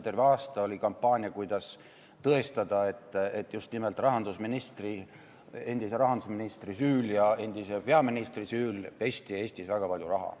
Terve aasta oli kampaania, kuidas tõestada, et just nimelt endise rahandusministri ja endise peaministri süül pesti Eestis väga palju raha.